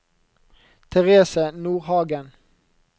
Therese Nordhagen